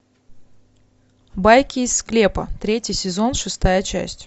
байки из склепа третий сезон шестая часть